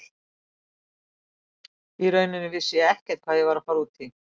Í rauninni vissi ég ekkert hvað ég var að fara út í.